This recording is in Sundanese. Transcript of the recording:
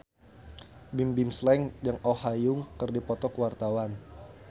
Bimbim Slank jeung Oh Ha Young keur dipoto ku wartawan